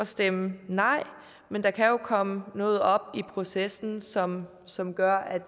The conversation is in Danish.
stemme nej men der kan jo komme noget op i processen som som gør at